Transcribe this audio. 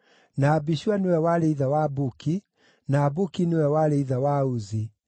na Abishua nĩwe warĩ ithe wa Buki, na Buki nĩwe warĩ ithe wa Uzi,